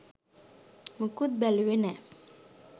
මොකුත් බැලුවෙ නෑ